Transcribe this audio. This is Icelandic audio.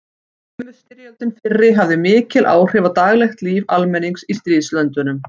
Heimsstyrjöldin fyrri hafði mikil áhrif á daglegt líf almennings í stríðslöndunum.